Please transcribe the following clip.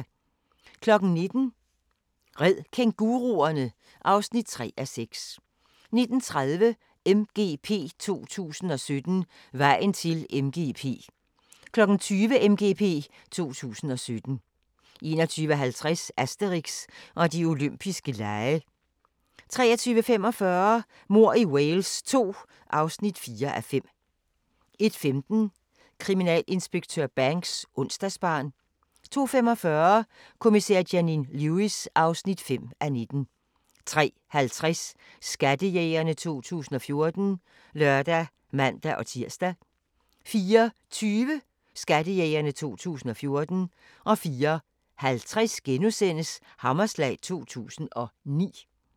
19:00: Red kænguruerne! (3:6) 19:30: MGP 2017 – Vejen til MGP 20:00: MGP 2017 21:50: Asterix og De Olympiske Lege 23:45: Mord i Wales II (4:5) 01:15: Kriminalinspektør Banks: Onsdagsbarn 02:45: Kommissær Janine Lewis (5:19) 03:50: Skattejægerne 2014 (lør og man-tir) 04:20: Skattejægerne 2014 04:50: Hammerslag 2009 *